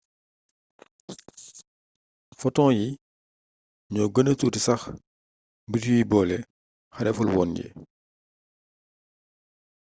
foton yi ñoo gëna tuuti sax mbir yuy boole xarefulwoon yi